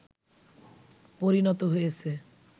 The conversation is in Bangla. পরিণত হয়েছে